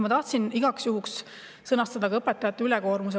Ma tahtsin rääkida ka õpetajate ülekoormusest.